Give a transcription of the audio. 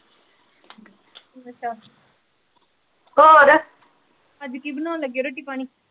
ਅੱਛਾ ਅਜ ਕੀ ਬਣਨ ਲਗੇ ਰੋਟੀ ਪਾਣੀ।